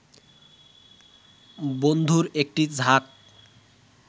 বন্ধুর একটি ঝাঁক